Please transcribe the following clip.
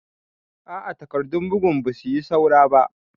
A a takardun bugun ba su yi saura ba.